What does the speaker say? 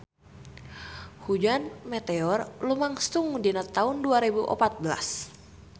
Hujan meteor lumangsung dina taun dua rebu opat belas